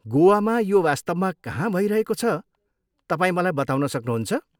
गोवामा यो वास्तवमा कहाँ भइरहेको छ, तपाईँ मलाई बताउन सक्नुहुन्छ?